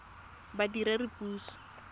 badiredipuso